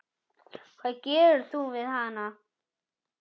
Hvað gerir þú við hana?